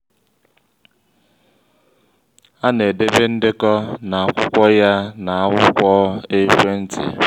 a na-edebe ndekọ na-akwụkwọ ya na akwụkwọ ekwentị